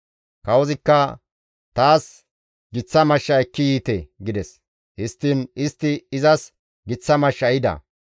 Kawozikka, «Taas giththa mashsha ekki yiite» gides; histtiin istti izas giththa mashsha ehida.